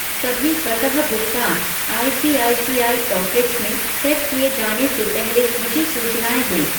सभी स्वतः भुगतान आईसीआईसीआई पॉकेट्स में सेट किए जाने से पहले मुझे सूचनाएँ दें ।